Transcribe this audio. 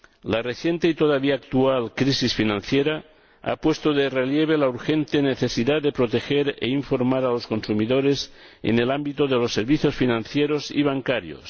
La reciente y todavía actual crisis financiera ha puesto de relieve la urgente necesidad de proteger e informar a los consumidores en el ámbito de los servicios financieros y bancarios.